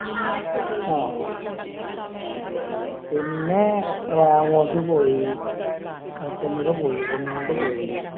ആഹ് പിന്നേ റാങ്ങോസ് പോയി പോയി റൊണാൾഡ്‌ പോയി